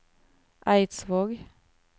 Eidsvåg